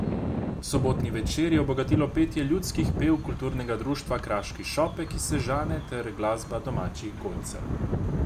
Sobotni večer je obogatilo petje ljudskih pevk kulturnega društva Kraški šopek iz Sežane ter glasba domačih godcev.